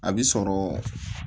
A bi sɔrɔ